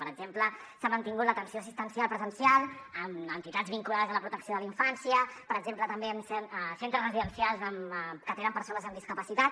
per exemple s’ha mantingut l’atenció assistencial presencial en entitats vinculades a la protecció de la infància per exemple també en centres residencials que atenen persones amb discapacitat